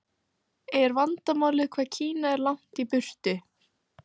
Er vandamálið hvað Kína er langt í burtu?